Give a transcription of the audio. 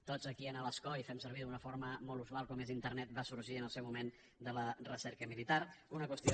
tots aquí a l’escó i fem servir d’una forma molt usual com és internet va sorgir en el seu moment de la recerca militar una qüestió